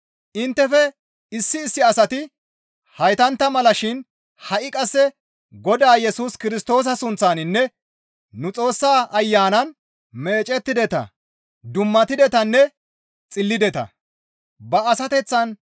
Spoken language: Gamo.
Inttefe issi issi asati heytantta mala shin ha7i qasse Godaa Yesus Kirstoosa sunththaninne nu Xoossaa Ayanan meecettideta; dummatidetanne xillideta.